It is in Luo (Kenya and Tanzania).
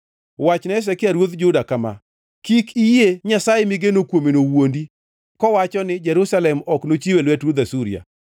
“Wachne Hezekia ruodh Juda kama: Kik iyie nyasaye migeno kuomeno wuondi kowacho ni, ‘Jerusalem ok nochiw e lwet ruodh Asuria.’